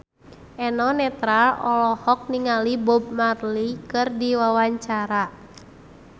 Eno Netral olohok ningali Bob Marley keur diwawancara